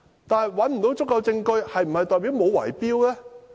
但是，找不到足夠證據，是否代表沒有圍標呢？